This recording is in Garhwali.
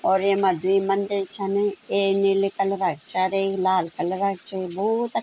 और ऐमा द्वि मंदिर छन एक नीली कलर क छा और एक लाल कलर क च भोत अ --